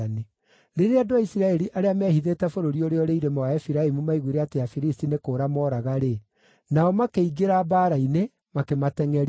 Rĩrĩa andũ a Isiraeli arĩa meehithĩte bũrũri ũrĩa ũrĩ irĩma wa Efiraimu maiguire atĩ Afilisti nĩ kũũra mooraga-rĩ, nao makĩingĩra mbaara-inĩ, makĩmatengʼeria.